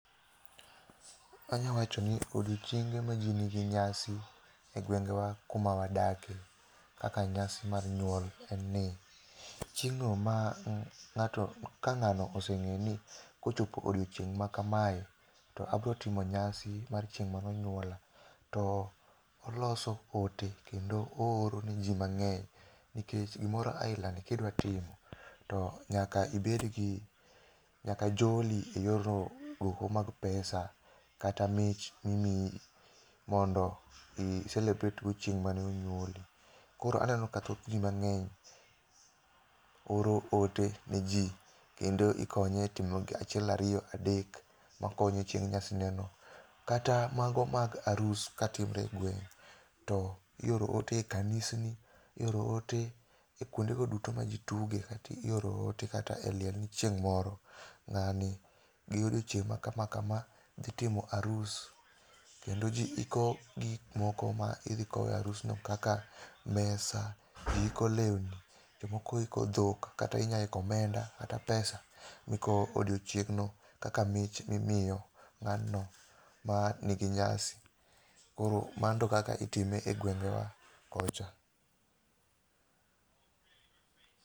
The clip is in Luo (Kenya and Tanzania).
Anyawacho ni odiochienge ma jii nigi nyasi e gwengewa kuma wadake, kaka nyasi mar nyuol enni, chieng'no ma ng' ng'ato ka ng'ano oseng'eyo ni kochopo odiochieng' ma kamae to abro timo nyasi mar chieng' mano nyuola, to oloso ote kendo oorone jii mang'eny, nikech gimoro aila ni kidwa timo, to nyaka ibed gi, nyaka joli e yor mag pesa, kata mich mimiyi mondo icelebrate go chieng' mane onyuoli. Koro aneno ka thoth jii mang'eny oro ote ne jii kendo ikonye e timo gi achiel ario adek makonye chieng' nyasineno. Kata mago arus katimre e gweng' to ioro ote e kanisni, ioro ote e kwondego duto majii tuge, ioro ote kata e liel ni chieng' moro, ng'ani gi odiochieng' makamakama dhi timo arus, kendo jii iko gik moko ma idhi kowe arusno kaka mesa, jii iko lewni, jomoko iko dhok, kata inyaiko omenda kata pesa mikowo odiochieng'no kaka mich mimio ng'ano ma nigi nyasi. Koro manto kaka itime e gwengewa kocha.